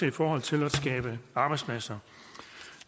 i forhold til at skaffe arbejdspladser